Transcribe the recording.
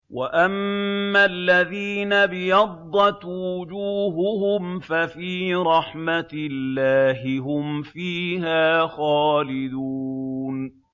وَأَمَّا الَّذِينَ ابْيَضَّتْ وُجُوهُهُمْ فَفِي رَحْمَةِ اللَّهِ هُمْ فِيهَا خَالِدُونَ